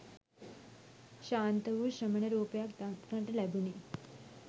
ශාන්ත වූ ශ්‍රමණ රූපයක් දක්නට ලැබුණි.